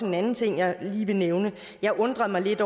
en anden ting jeg lige vil nævne jeg undrede mig lidt